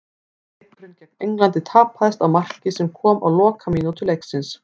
Leikurinn gegn Englandi tapaðist á marki sem kom á lokamínútu leiksins.